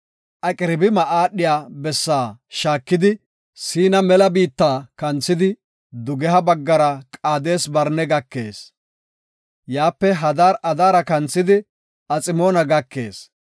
Aqirabima aadhiya bessaa shaakidi Siina biitta bazzuwa kanthidi dugeha baggara Qaades-Barne gakees. Yaape Hadar-Adaara kanthidi Aximoona gakees.